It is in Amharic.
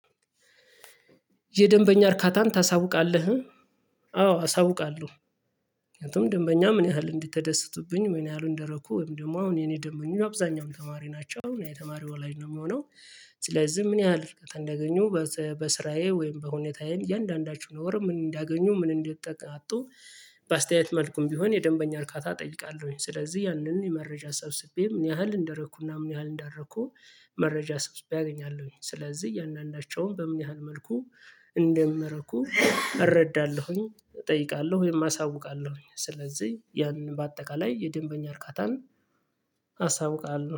የደንበኛ እርካታን ታሳውቃለህ? አዎ አሳውቃለሁ። እንትን ደንበኛ ምን ያህል እንዲተደሰቱብኝ ወይኔ ምን እደረኩ ወይም ደግሞ አሁን የኔ ደንበኛ አብዛኛውን ተማሪ ናቸው አሁን የተማሪው ወላይጅ ነው የሚሆነው። ስለዚህ ምን ያህል እንደገኘሁ በስራዬ ወይም በሁኔታዬ እያንዳንዳችሁ ወር ምን እንዳገኙ ምን እንደ አጡ። በአስተያየት መልኩም ቢሆን የደንበኛ እርካታ እጠይቃለሁኝ ስለዚህ ያንን የመረጃ ሰብስቤም ምን ያህል እንደረኩና ምን ያህል እንዳረኩ። መረጃ ሰብስቤ አገኛለሁኝ ስለዚህ እያንዳንዳቸውን በምን ያህል መልኩ እንደምረኩ። እረዳለሁኝ እጠይቃለሁ ወይም አሳውቃለሁኝ ስለዚህ ያንን በአጠቃላይ የደንበኛ እርካታን አሳውቃለሁ